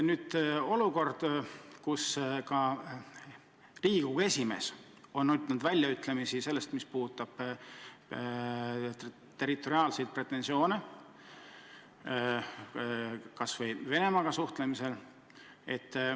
Nüüd on Riigikogu esimees ütelnud välja oma seisukoha, mis puudutab territoriaalseid pretensioone Venemaaga suhtlemisel.